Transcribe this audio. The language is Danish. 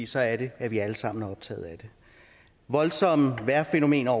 så er det at vi alle sammen er optaget af det voldsomme vejrfænomener